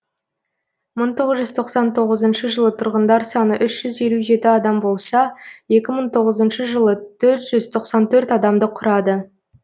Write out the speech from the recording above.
мың тоғыз жүз тоқсан тоғызыншы жылы тұрғындар саны үшү жүз елу жеті адам екі мың тоғызыншы жылы төрт жүз тоқсан төрт адамды құрады